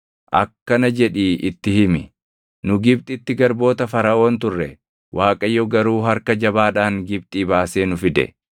akkana jedhii itti himi; “Nu Gibxitti garboota Faraʼoon turre; Waaqayyo garuu harka jabaadhaan Gibxii baasee nu fide.